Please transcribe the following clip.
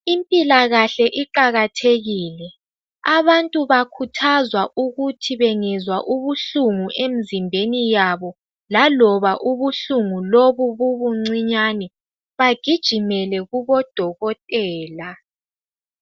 Impilakahle iqakathekile abantu bakhuthazwa ukuthi bengezwa ubuhlungu emzimbeni yabo laloba ubuhlungu lobu bubucinyane bagijimele kubodokotela.